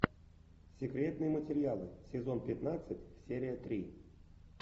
секретные материалы сезон пятнадцать серия три